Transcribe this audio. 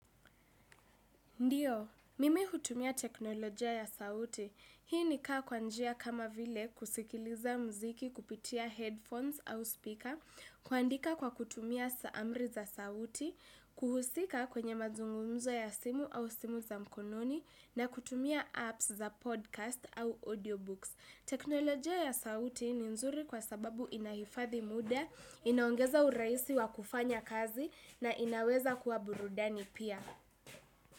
Ndio, mimi hutumia teknolojia ya sauti. Hii ni kaa kwa njia kama vile kusikiliza muziki kupitia headphones au speaker, kuandika kwa kutumia saamri za sauti, kuhusika kwenye mazungumzo ya simu au simu za mkononi, na kutumia apps za podcast au audiobooks. Teknolojia ya sauti ni nzuri kwa sababu inahifadhi muda, inaongeza urahisi wa kufanya kazi na inaweza kua burudani pia.